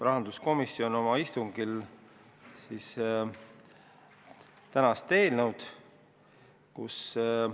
Rahanduskomisjon arutas oma istungil eelnõu 108 ka 19. novembril.